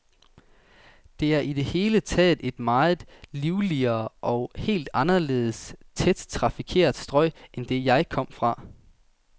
Det er i det hele taget et meget livligere, et helt anderledes tæt trafikeret strøg end det, jeg kom fra.